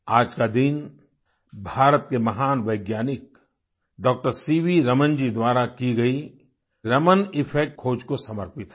आज का दिन भारत के महान वैज्ञानिक डॉक्टर सीवी रमन जी द्वारा की गई रमन इफेक्ट खोज को समर्पित है